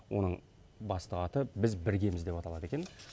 оның басты аты біз біргеміз деп аталады екен